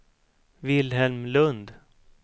Vilhelm Lundh